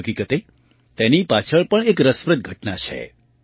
હકીકતે તેની પાછળ પણ એક રસપ્રદ ઘટના છે